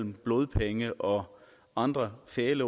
blodpenge og andre fæle